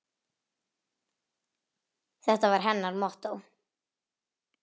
Þetta var hennar mottó.